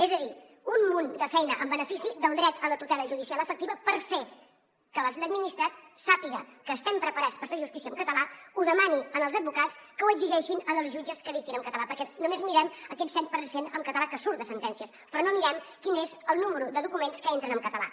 és a dir un munt de feina en benefici del dret a la tutela judicial efectiva per fer que l’administrat sàpiga que estem preparats per fer justícia en català ho demani als advocats que ho exigeixin als jutges que dictin en català perquè només mirem aquest set per cent en català que surt de sentències però no mirem quin és el nombre de documents que entren en català